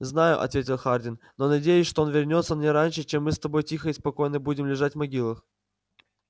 знаю ответил хардин но надеюсь что он вернётся не раньше чем мы с тобой тихо и спокойно будем лежать в могилах